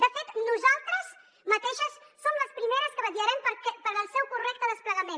de fet nosaltres mateixes som les primeres que vetllarem pel seu correcte desplegament